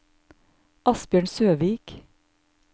Asbjørn Søvik